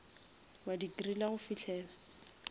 wa di griller go fihlela